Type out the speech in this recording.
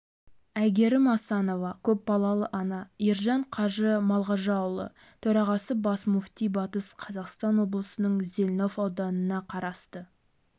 айгерім асанова көпбалалы ана ержан қажы малғажыұлы төрағасы бас мүфти батыс қазақстан облысының зелнов ауданына қарасты